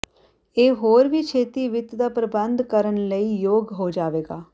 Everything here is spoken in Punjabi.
ਇਹ ਹੋਰ ਵੀ ਛੇਤੀ ਵਿੱਤ ਦਾ ਪ੍ਰਬੰਧ ਕਰਨ ਲਈ ਯੋਗ ਹੋ ਜਾਵੇਗਾ